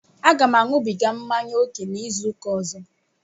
Aga m añubiga mmanya ókè n'izuụka ọzọ